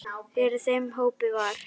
Fyrir þeim hópi var